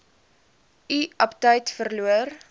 u aptyt verloor